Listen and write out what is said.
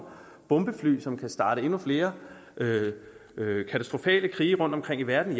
bombefly som kan starte endnu flere katastrofale krige rundtomkring i verden